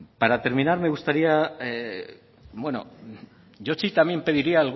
para terminar me gustaría bueno yo sí también pediría